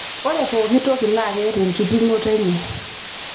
ore pooki toki naa keeta enkitinh'oto enye